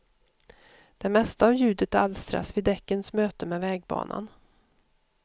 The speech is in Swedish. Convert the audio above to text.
Det mesta av ljudet alstras vid däckens möte med vägbanan.